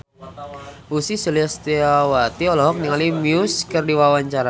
Ussy Sulistyawati olohok ningali Muse keur diwawancara